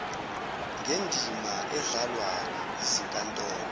ngendima edlalwa yizinkantolo